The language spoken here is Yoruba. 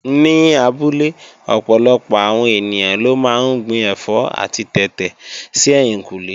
Ní abúlé ọ̀pọ̀lọpọ̀ àwọn ènìyàn ló máa ń gbin ẹ̀fọ́ àti tètè sí ẹ̀yìnkùnlé